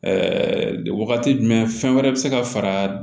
wagati jumɛn fɛn wɛrɛ bi se ka fara